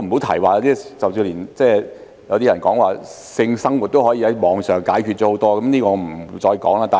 甚至有人說性生活也可以在網上解決，這方面我就不說了。